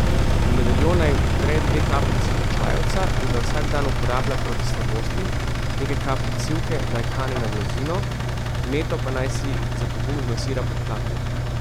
V medaljon naj vtre dve kapljici čajevca in ga vsak dan uporablja proti slabosti, nekaj kapljic sivke naj kane na blazino, z meto pa naj si za pogum zmasira podplate.